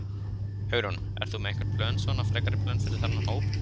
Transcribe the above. Hugrún: En ertu með einhver plön svona, frekari plön fyrir þennan hóp?